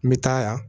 N bɛ taa yan